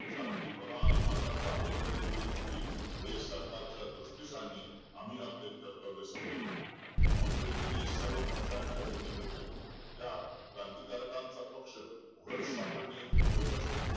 शांती प्रधान मार्गाचा अवलंब करू इच्छितील हे सरकार च्या दृष्टी सानने आम्ही आपले कर्तव्य समझलो सर्व पक्षांचा भेटी घेतल्या त्यात क्रांतिकारकांच पक्ष उघड सापडणे दुर्घटस होते